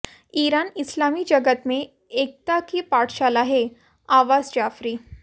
Iran इस्लामी जगत में एकता की पाठशाला हैः अब्बास जाफरी